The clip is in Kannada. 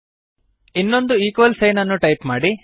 ಇನ್ನೊಂದು ಈಕ್ವಲ್ ಸೈನ್ ಅನ್ನು ಟೈಪ್ ಮಾಡಿ